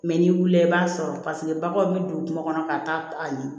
n'i wulila i b'a sɔrɔ paseke baganw bɛ don kungo kɔnɔ ka taa a ɲini